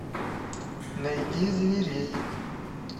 найди зверей